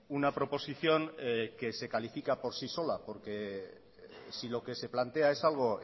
una proposición que se califica por sí sola porque si lo que se plantea es algo